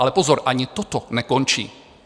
Ale pozor, ani toto nekončí.